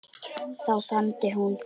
Þá þagnaði hún.